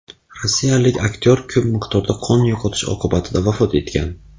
Rossiyalik aktyor ko‘p miqdorda qon yo‘qotish oqibatida vafot etgan.